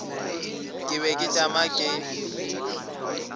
ke be ke tšama ke